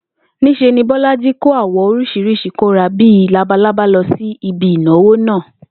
Ní s̩e ni Bó̩lájí kó àwò̩ orís̩irís̩i kó̩ra bí i labalábá lo̩ sí ibi ìnáwó náà